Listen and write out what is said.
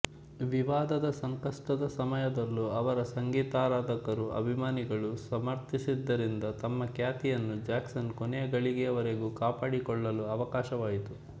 ವಿವಾದದ ಸಂಕಷ್ಟದ ಸಮಯದಲ್ಲೂ ಅವರ ಸಂಗೀತಾರಾಧಕರು ಅಭಿಮಾನಿಗಳು ಸಮರ್ಥಿಸಿದ್ದರಿಂದ ತಮ್ಮ ಖ್ಯಾತಿಯನ್ನು ಜ್ಯಾಕ್ಸನ್ ಕೊನೆಯಗಳಿಗೆಯ ವರೆಗೂ ಕಾಪಾಡಿಕೊಳ್ಳಲು ಅವಕಾಶವಾಯಿತು